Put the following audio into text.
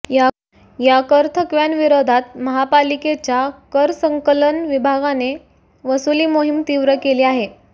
या करथकव्यांविरोधात महापालिकेच्या करसंकलन विभागाने वसुली मोहीम तीव्र केली आहे